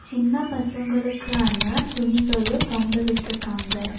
சின்ன பசங்களுக்கான துணிகளு தொங்க விட்ருக்காங்க.